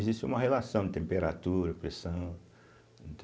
Existe uma relação, temperatura, pressão.